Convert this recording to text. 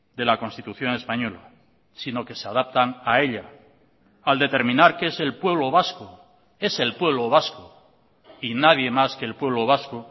de la constitución española sino que se adaptan a ella al determinar que es el pueblo vasco es el pueblo vasco y nadie más que el pueblo vasco